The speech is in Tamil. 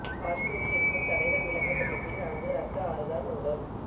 காஷ்மீரில் இருக்கும் தடைகள் விலக்கப்பட்ட பின் அங்கு ரத்த ஆறுதான் ஓடும்